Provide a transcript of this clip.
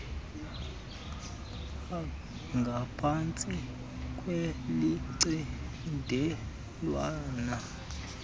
h ngaphansti kwelicandelwana